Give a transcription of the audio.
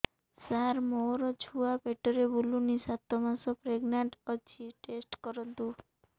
ସାର ମୋର ଛୁଆ ପେଟରେ ବୁଲୁନି ସାତ ମାସ ପ୍ରେଗନାଂଟ ଅଛି ଟେଷ୍ଟ କରନ୍ତୁ